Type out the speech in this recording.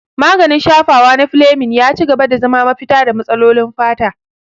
Maganin shafawa na Fleming ya ci gaba da zama mafita ga matsalolin fata.